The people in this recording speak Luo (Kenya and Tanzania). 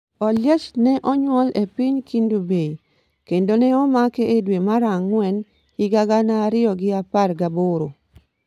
Oliech nonyuol e e piny Kendu Bay, kendo ne omake e dwe mar ang'wen higa gana ariyo gi apar gaboro.